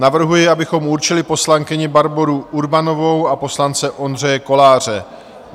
Navrhuji, abychom určili poslankyni Barboru Urbanovou a poslance Ondřeje Koláře.